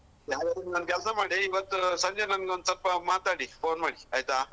ಒಂದು ಕೆಲ್ಸ ಮಾಡಿ ಇವತ್ತು ಸಂಜೆ ನಂಗೆ ಒಂದ್‌ಸ್ವಲ್ಪ ಮಾತಾಡಿ phone ಮಾಡಿ ಆಯ್ತಾ.